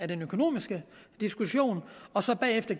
den økonomiske del og så bagefter